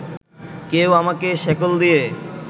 কেউ আমাকে শেকল দিয়ে